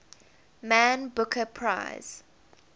man booker prize